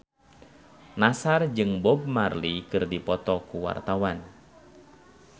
Nassar jeung Bob Marley keur dipoto ku wartawan